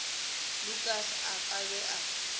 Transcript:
lukas a ka be a